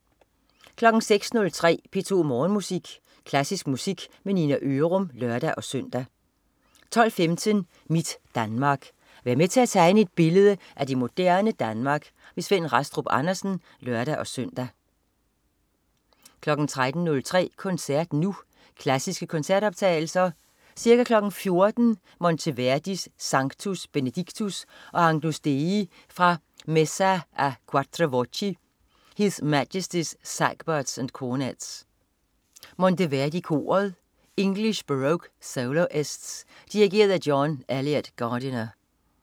06.03 P2 Morgenmusik. Klassisk musik med Nina Ørum (lør-søn) 12.15 Mit Danmark. Vær med til at tegne et billede af det moderne Danmark. Svend Rastrup Andersen (lør-søn) 13.03 Koncert Nu. Klassiske koncertoptagelser. Ca. 14.00 Monteverdi: Sanctus, Benedictus og Agnus Dei fra Messa a 4 voci. His Majestys Sagbutts & Cornetts. Monteverdi Koret. English Baroque Soloists. Dirigent: John Eliot Gardiner